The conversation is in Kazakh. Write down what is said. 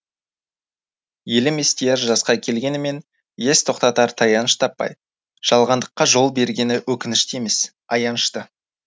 елім естияр жасқа келгенімен ес тоқтатар таяныш таппай жалғандыққа жол бергені өкінішті емес аянышты